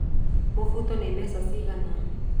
Mũbuto ni mbeca cigana